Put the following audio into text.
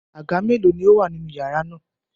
Àga mélòó ni ó wà nínú iyàrá náà?